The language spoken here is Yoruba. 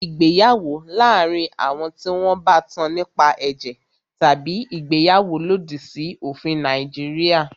Ìgbéyàwó láàárín àwọn tí wọn bá tán nípa ẹ̀jẹ̀ tabi ìgbéyàwó lòdì sí òfin Nàìjíríà.